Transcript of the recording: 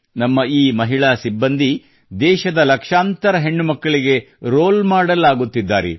ನಮ್ಮ ಈ ಮಹಿಳಾ ಪೊಲೀಸ್ ಸಿಬ್ಬಂದಿ ದೇಶದ ಲಕ್ಷಾಂತರ ಹೆಣ್ಣುಮಕ್ಕಳಿಗೆ ಮಾದರಿ ಆಗುತ್ತಿದ್ದಾರೆ